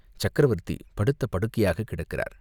சக்கரவர்த்தி படுத்த படுக்கையாகக் கிடக்கிறார்.